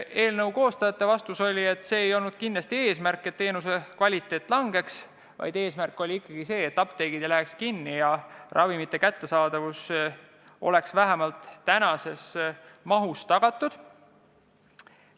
Eelnõu koostajate vastus oli, et kindlasti ei olnud eesmärk see, et teenuse kvaliteet halveneks, vaid eesmärk oli ikkagi see, et apteegid ei läheks kinni ja ravimite kättesaadavus oleks vähemalt praeguses mahus tagatud.